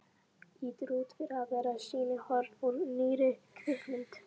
Lítur út fyrir að vera sýnishorn úr nýrri kvikmynd.